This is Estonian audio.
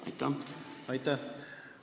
Aitäh!